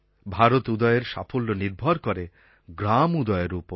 ভারত উদয়ের সাফল্য নির্ভর করে গ্রাম উদয়ের ওপর